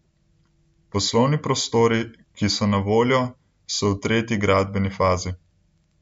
Poslovni prostori, ki so na voljo, so v tretji gradbeni fazi.